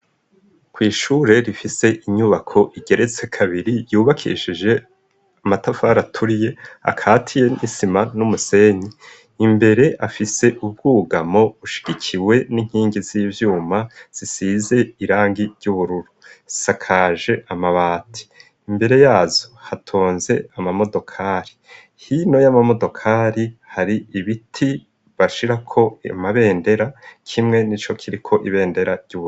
Kw''ishure rifise inyubako igeretse kabiri yubakishije amatafari aturiye akatiye n'isima n'umusenyi imbere afise ubwugamo bushigikiwe n'inkingi z'ibyuma zisize irangi ry'ubururu isakaje amabati. Imbere yazo hatonze amamodokari hino y'amamodokari hari ibiti bashira ko amabendera kimwe n'ico kiriko ibendera ry'ubururundi.